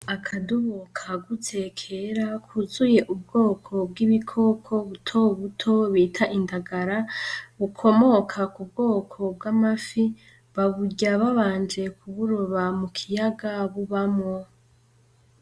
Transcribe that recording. Akadobo kagutse kera kuzuye ubwoko bw’ ibikoko butoduto bita indangara ,bukomoka kubwoko bw'amafi baburya babanje kuburoba mukiyaga bubamwo.